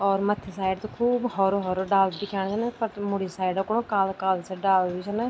और मथ्थी साइड त खूब होरु होरु डालू भी दिखेणा छन पर त मूडी साइड को काला काला सा डाला भी छन।